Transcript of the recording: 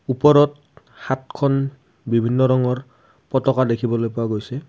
ওপৰত সাতখন বিভিন্ন ৰঙৰ পতাকা দেখিবলৈ পোৱা গৈছে।